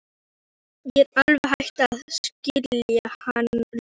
Ég er alveg hætt að skilja hann Lúlla.